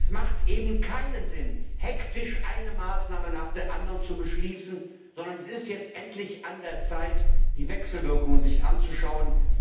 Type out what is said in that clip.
Es macht eben keinen Sinn, hektisch eine Maßnahme nach der anderen zu beschließen, sondern es ist jetzt endlich an der Zeit, sich die Wechselwirkungen anzuschauen.